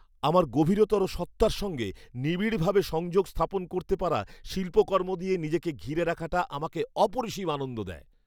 আমার গভীরতর সত্ত্বার সঙ্গে নিবিড় ভাবে সংযোগ স্থাপন করতে পারা শিল্পকর্ম দিয়ে নিজেকে ঘিরে রাখাটা আমাকে অপরিসীম আনন্দ দেয়।